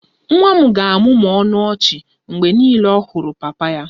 Nwa m ga-amụmụ ọnụ ọchị mgbe niile mgbe ọ hụrụ papa ya